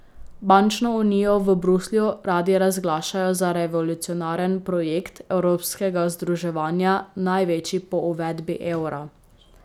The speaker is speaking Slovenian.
Bančno unijo v Bruslju radi razglašajo za revolucionaren projekt evropskega združevanja, največji po uvedbi evra.